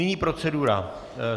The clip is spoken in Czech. Nyní procedura.